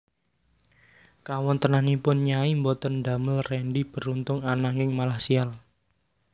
Kawontenanipun Nyai boten ndamel Rendy beruntung ananging malah sial